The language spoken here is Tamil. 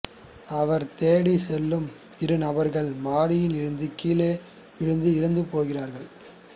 அவர் தேடிச் செல்லும் இரு நபர்கள் மாடியில் இருந்து கீழே விழுந்து இறந்து போகிறார்கள்